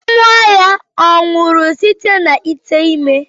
Nwa ya ọ̀ nwụrụ site na ite ime?